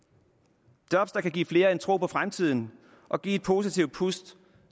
og job der kan give flere en tro på fremtiden og give et positivt pust